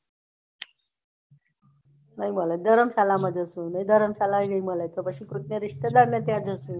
નઈ મળે તો ધર્મશાલા માં જસુ ધર્મશાલા જશું નઈ મળે તો ખુદને રિસ્તેદાર ને ત્યાં જશું